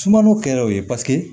Sumano kɛra o ye